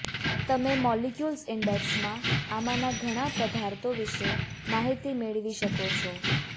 તમે મોલેક્યુલ્સ ઇન્ડેક્સમાં આમાંના ઘણા પદાર્થો વિશે માહિતી મેળવી શકો છો